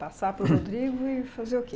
Passar para o Rodrigo e fazer o quê?